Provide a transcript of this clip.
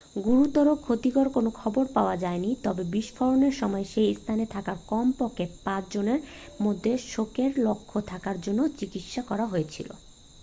গুরুতর ক্ষতির কোন খবর পাওয়া যায়নি তবে বিস্ফোরণের সময় সেই স্থানে থাকা কম করে পাঁচ জনের মধ্যে শকের লক্ষণ থাকার জন্য চিকিৎসা করা হয়েছিল